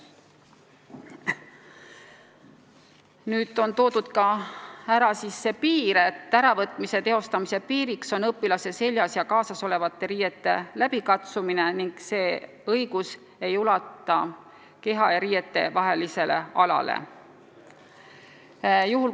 Nüüd on märgitud ka see piir, et piirduma peab õpilase seljas ja kaasas olevate riiete läbikatsumisega ning see õigus ei ulatu keha ja riiete vahelisele alale.